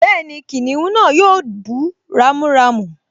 Bẹ́ẹ̀ni, kìnìún náà yóò bú ramúramù